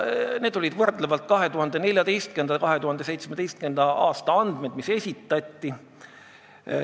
Esitati 2014. ja 2017. aasta võrdlevad andmed.